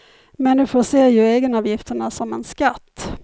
Människor ser ju egenavgifterna som en skatt.